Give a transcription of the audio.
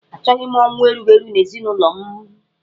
Achọghị m ọnwụ erughi eru n'ezinụlọ m.